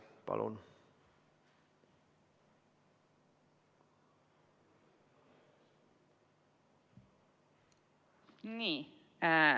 Palun!